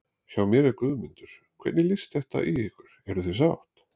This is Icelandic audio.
Hjá mér er Guðmundur, hvernig leggst þetta í ykkur, eruð þið sátt?